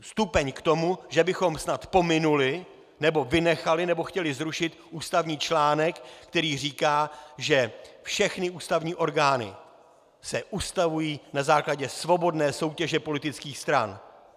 stupeň k tomu, že bychom snad pominuli nebo vynechali nebo chtěli zrušit ústavní článek, který říká, že všechny ústavní orgány se ustavují na základě svobodné soutěže politických stran.